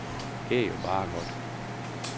Det er jo bare godt.